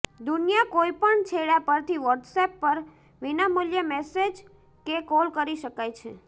દુનિયા કોઇપણ છેડા પરથી વોટ્સએપ પર વિનામૂલ્યે મેસેજ કે કોલ કરી શકાય છે